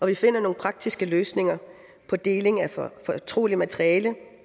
vi finder nogle praktiske løsninger på deling af fortroligt materiale